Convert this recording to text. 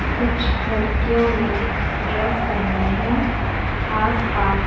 कुछ लड़कियों ने ड्रेस पहनी है आसपास--